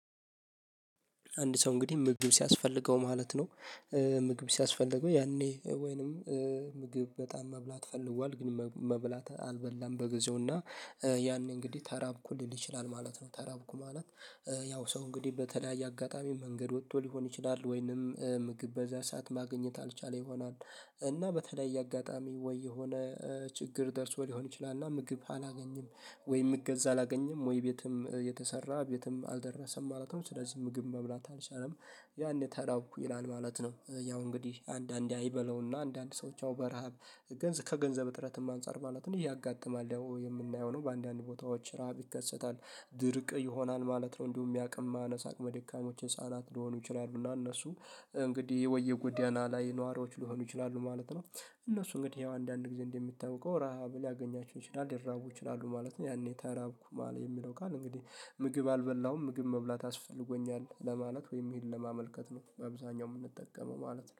አንድ ሰው እንግዲህ ምግብ ሲያስፈልገው ማለት ነው። ምግብ ሲያስፈልገው ያኔ ወይንም ምግብ በጣም መብላት ፈልጓል ግን መብላት አልበላም በጊዜው እና ያኔ እንግዲህ ተራብኩልኝ ሊችላል ማለት ነው። ተራብኩ ማለት። ያው ሰው እንግዲህ በተለያየ አጋጣሚ መንገድ ወጥቶ ሊሆን ይችላል ወይንም ምግብ በዛ ሰዓት ማግኘት አልቻለ ይሆናል። እና በተለይ አጋጣሚ ወይ የሆነ ችግር ደርሶ ሊሆን ይችላል። እና ምግብ አላገኝም ወይም እገዛ አላገኝም ወይ ቤትም የተሰራ ቤትም አልደረሰም ማለት ነው። ስለዚህ ምግብ መብላት አልቻለም ያኔ ታዳው ይላል ማለት ነው። ያው እንግዲህ አንዳንዴ አይበለውና አንዳንድ ሰዎች አው በረሃብ ገንዘብ ከገንዘብ እጥረትም አንፃር ማለት ነው እያጋጠማለሁ የምናየው ነው። በአንዳንድ ቦታዎች ረሃብ ይከሰታል። ድርቅ ይሆናል ማለት ነው። እንደውም የሚያውቅም ማነሳቅ መድኃኒዎች ህፃናት ለሆኑ ይችላሉና እነሱ እንግዲህ ወይ የጉዳዩን ላይ ነዋሪዎች ሊሆኑ ይችላሉ ማለት ነው። እነሱ እንግዲህ ይሄው አንዳንድ ጊዜ እንደምታውቀው ረሃብ ሊያገኛቸው ይችላል ይራቡ ይችላሉ ማለት ነው። ያኔ ተራብኩ ማለት የሚለው ቃል እንግዲህ ምግብ አልበላሁም ምግብ መብላት አስፈልጎኛል ለማለት ወይም ይሄን ለማመልከት ነው። በብዛኛው የምንጠቀመው ማለት ነው